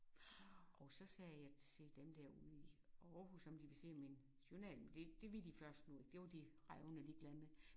Og så sagde jeg til dem der ude i Aarhus om de ville se min journal men det det ville de først nu det var de revnende ligeglade med